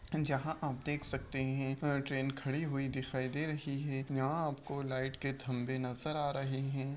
जहाँ आप देख सकते हैं यह ट्रेन खड़ी हुई दिखाई दे रही है। यहाँ आपको लाइट के थमबे नज़र आ रहे हैं।